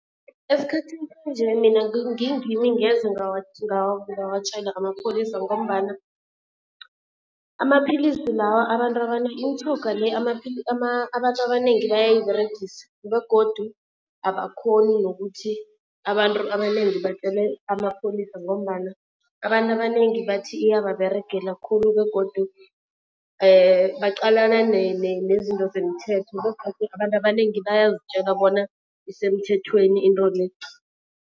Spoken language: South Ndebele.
Esikhathini sanje mina ngingimi ngeze ngawatjela amapholisa ngombana amaphilisi lawa abantu imitjhoga le abantu abanengi bayayiberegisa begodu abakhoni nokuthi abantu abanengi batjele amapholisa ngombana abantu abanengi bathi iyababeregela khulu. Begodu baqalana nezinto zemthetho begodu abantu abanengi bayazitjela bona isemthethweni into le.